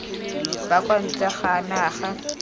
ba kwa ntle ga naga